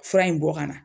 Fura in bɔ ka na